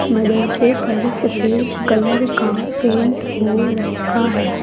मदरसे पर सफेद कलर का पेंट हो रखा है।